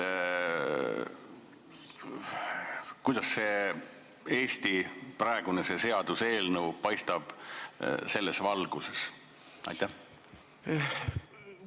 Kuidas see seaduseelnõu selles valguses paistab?